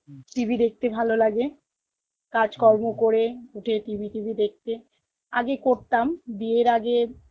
TV দেখতে ভালো লাগে কাজ কর্ম করে উঠে TV TV দেখতে, আগে করতাম বিয়ের আগে